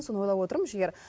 соны ойлап отырмын жігер